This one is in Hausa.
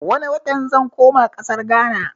Wane watan zan koma ƙasar gana